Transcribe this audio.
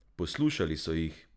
Poslušali so jih!